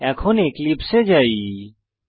এখন এক্লিপসে এ যাওয়া যাক